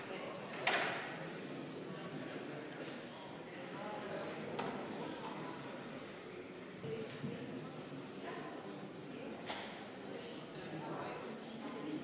Keskerakonna fraktsiooni võetud viieminutiline vaheaeg on lõppenud.